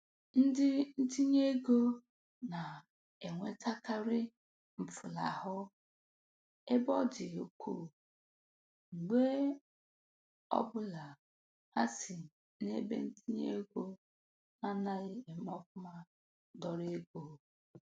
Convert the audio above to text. Ndi ntinyeego na-enwetakarị mfulahụ ebe ọ dị ukwu mgbe ọbụla ha si n'ebentinyeego na-anaghị eme nke ọma dọrọ ego.